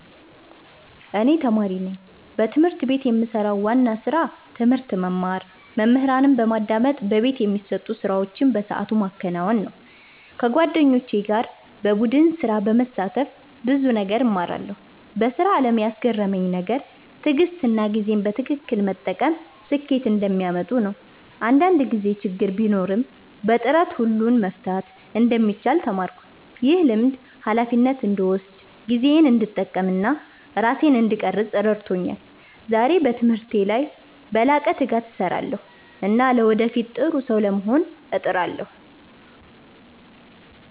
እኔ ተማሪ ነኝ። በትምህርት ቤት የምሰራው ዋና ስራ ትምህርት መማር፣ መምህራንን በማዳመጥ በቤት የሚሰጡ ስራዎችን በሰዓቱ ማከናወን ነው። ከጓደኞቼ ጋር በቡድን ስራ በመሳተፍ ብዙ ነገር እማራለሁ። በስራ አለም ያስገረመኝ ነገር ትዕግሥትና ጊዜን በትክክል መጠቀም ስኬት እንደሚያመጡ ነው። አንዳንድ ጊዜ ችግር ቢኖርም በጥረት ሁሉን መፍታት እንደሚቻል ተማርኩ። ይህ ልምድ ሃላፊነትን እንድወስድ፣ ጊዜዬን እንድጠቀም እና ራሴን እንድቀርፅ ረድቶኛል። ዛሬ በትምህርቴ ላይ በላቀ ትጋት እሰራለሁ እና ለወደፊት ጥሩ ሰው ለመሆን እጥራለሁ።